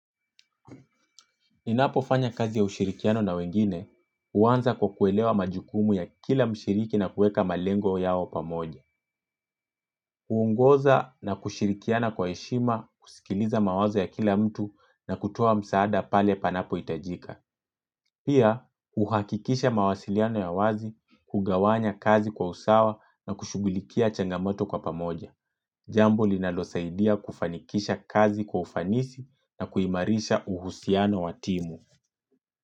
Ninapo fanya kazi ya ushirikiano na wengine, huanza kwa kuelewa majukumu ya kila mshiriki na kuweka malengo yao pamoja. Huongoza na kushirikiana kwa heshima, kusikiliza mawazo ya kila mtu na kutoa msaada pale panapo itajika. Pia, uhakikisha mawasiliano ya wazi, kugawanya kazi kwa usawa na kushughulikia changamoto kwa pamoja. Jambo linalo saidia kufanikisha kazi kwa ufanisi na kuimarisha uhusiano watimu.